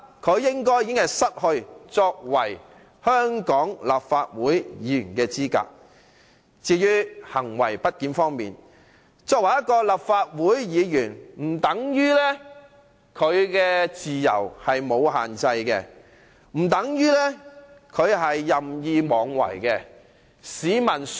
至於行為不檢方面，即使鄭松泰作為立法會議員，也不等於他的自由不受限制，不等於他可以任意妄為。